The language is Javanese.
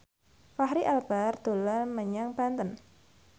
Fachri Albar dolan menyang Banten